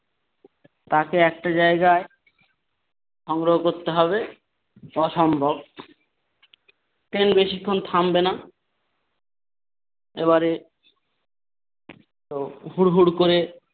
তাকে একটা জায়গায় সংগ্রহ করতে হবে অসম্ভব কেন বেশিক্ষণ থামবে না এবারে তো হুড় হুড় করে ।